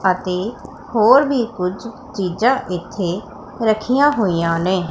ਅਤੇ ਹੋਰ ਵੀ ਕੁਝ ਚੀਜ਼ਾਂ ਇੱਥੇ ਰੱਖੀਆਂ ਹੋਈਆਂ ਨੇ।